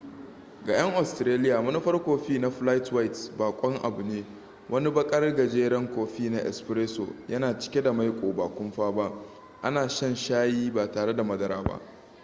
ga 'yan australiya manufar kofi na 'flat white' bakon abu ne. wani bakar gajeren kofi na 'espresso' yana cike da maiko ba kumfa ba ana shan shayi ba tare da madara ba